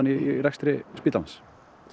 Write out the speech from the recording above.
í rekstri spítalans